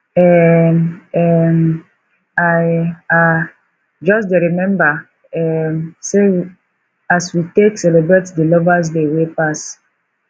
um um i um just dey rememba um as we take celebrate di lovers day wey pass